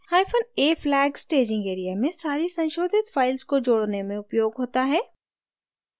hyphen a flag staging area में सारी संशोधित files को जोड़ने में उपयोग होता है